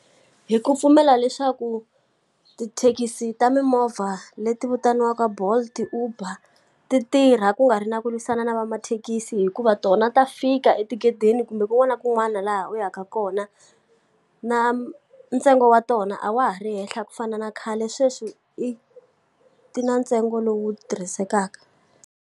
Hi ku pfumela leswaku tithekisi ta mimovha leti vitaniwaka Bolt Uber, ti tirha ku nga ri na ku lwisana na va mathekisi hikuva tona ta fika etigetini kumbe kun'wana na kun'wana laha u yaka kona. Na ntsengo wa tona a wa ha ri henhla ku fana na khale sweswi i ti na ntsengo lowu tirhisekaka.